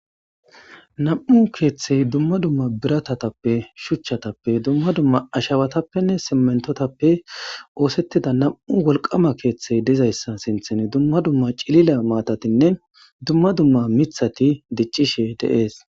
Namu keeththeti dumma dumma biratappe shuchchatappenne dumma dumma ashshawatapoenne siminitotapppe osetida namu woliqama keththeyi dizayisa sinththani dumma dumma cilila matatinne dumma dumma miththati dichchishshe deesi